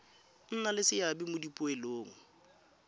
nna le seabe mo dipoelong